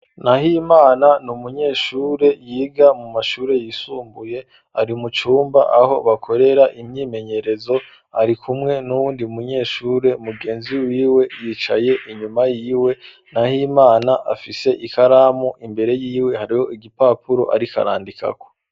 Nahimana n’umunyeshuri yiga mu mashuri yisumbuye ari mucumba aho bakorera imyimenyerezo ari kumwe n'uwundi munyeshure mugenzi wiwe yicaye inyuma yiwe Nahimana afise ikaramu imbere y'iwe hariho igipapuro arikarandikako.